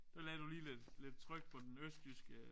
Der lagde du lige lidt lidt tryk på den østjyske